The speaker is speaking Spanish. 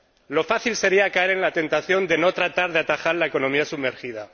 Lo fácil sería caer en la tentación de no tratar de atajar la economía sumergida.